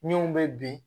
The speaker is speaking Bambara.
Min bɛ bin